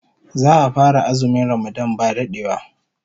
Za'a fara azumin Ramadan ba dadewa